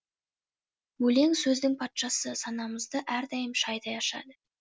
өлең сөздің патшасы санамызды әрдайым шайдай ашады